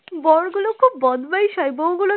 বরগুলো খুব বদমাশ হয় বউ গুলো